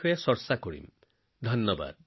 আপোনালোক সকলোকে অশেষ ধন্যবাদ